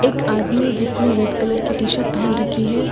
एक आदमी जिसने रेड कलर की टी शर्ट पहन रखी है।